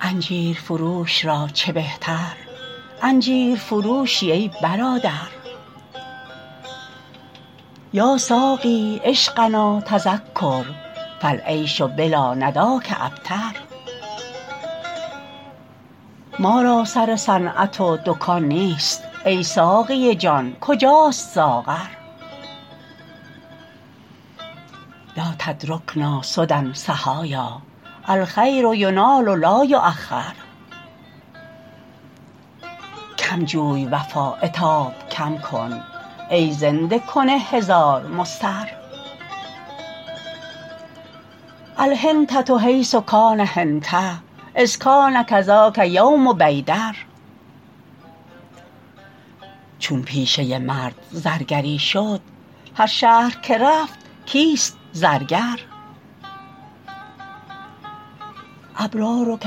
انجیرفروش را چه بهتر انجیرفروشی ای برادر یا ساقی عشقنا تذکر فالعیش بلا نداک ابتر ما را سر صنعت و دکان نیست ای ساقی جان کجاست ساغر لا تترکنا سدی صحایا الخیر ینال لا یوخر کم جوی وفا عتاب کم کن ای زنده کن هزار مضطر الحنطه حیث کان حنطه اذ کان کذاک یوم بیدر چون پیشه مرد زرگری شد هر شهر که رفت کیست زرگر ابرارک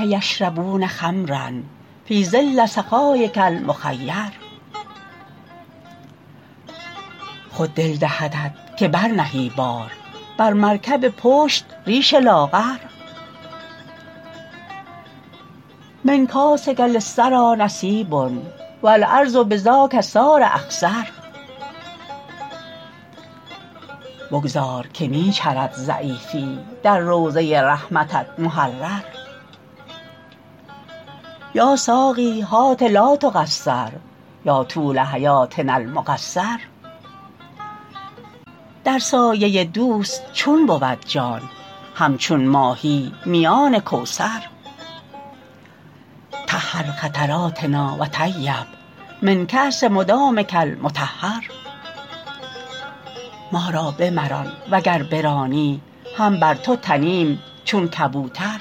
یشربون خمرا فی ظل سخایک المخیر خود دل دهدت که برنهی بار بر مرکب پشت ریش لاغر من کاسک للثری نصیب و الارض بذاک صار اخضر بگذار که می چرد ضعیفی در روضه رحمتت محرر یا ساقی هات لا تقصر یا طول حیاتنا المقصر در سایه دوست چون بود جان همچون ماهی میان کوثر طهر خطراتنا و طیب من کأس مدامک المطهر ما را بمران وگر برانی هم بر تو تنیم چون کبوتر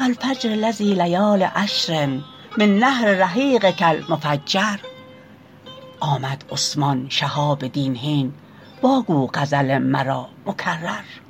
و الفجر لذی لیال عشر من نهر رحیقک المفجر آمد عثمان شهاب دین هین واگو غزل مرا مکرر